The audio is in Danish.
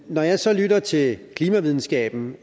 når jeg så lytter til klimavidenskaben